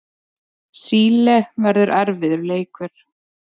Síle verður erfiður leikur.